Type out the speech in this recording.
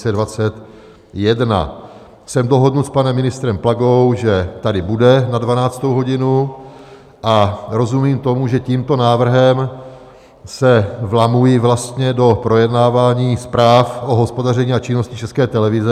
Jsem dohodnut s panem ministrem Plagou, že tady bude na 12. hodinu, a rozumím tomu, že tímto návrhem se vlamuji vlastně do projednávání zpráv o hospodaření a činnosti České televize.